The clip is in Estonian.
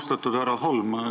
Austatud härra Holm!